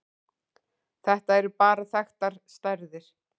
Þetta eru bara þekktar stærðir.